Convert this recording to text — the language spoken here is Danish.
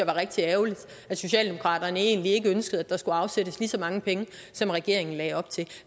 var rigtig ærgerligt at socialdemokraterne egentlig ikke ønskede at der skulle afsættes lige så mange penge som regeringen lagde op til